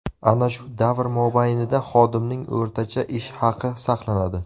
Ana shu davr mobaynida xodimning o‘rtacha ish haqi saqlanadi.